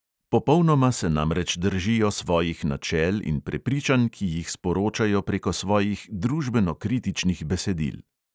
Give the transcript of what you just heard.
Popolnoma se namreč držijo svojih načel in prepričanj, ki jih sporočajo preko svojih družbeno kritičnih besedil.